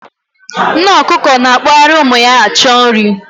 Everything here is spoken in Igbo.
Nne ọkụkọ na-akpọgharị ụmụ ya achọ nri.